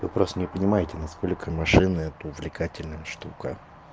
вы просто не понимаете насколько машины это увлекательная штука